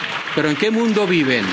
Pero ¿en qué mundo viven?